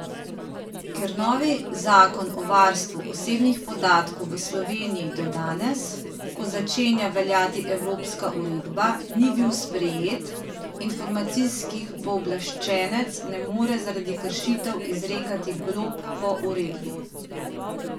Ker novi zakon o varstvu osebnih podatkov v Sloveniji do danes, ko začenja veljati evropska uredba, ni bil sprejet, informacijskih pooblaščenec ne more zaradi kršitev izrekati glob po uredbi.